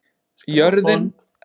Jörðin er þá milli sólar og tungls.